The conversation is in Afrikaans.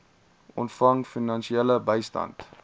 ontvang finansiële bystand